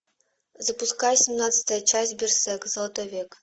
запускай семнадцатая часть берсерк золотой век